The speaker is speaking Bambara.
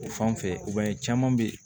O fan fɛ i b'a ye caman be ye